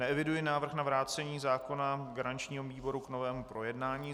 Neeviduji návrh na vrácení zákona garančního výboru k novému projednání.